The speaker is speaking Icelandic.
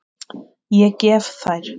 Ég gef þær.